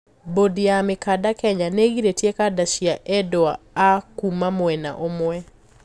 Bodi ya mikanda Kenya niigiritie kanda cia endwa a kuuma mwena ũmwe.